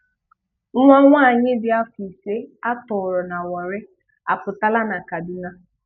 Nwá nwáanyị dị afọ ise a tọọrọ na Wárri apụtala na Kádùná.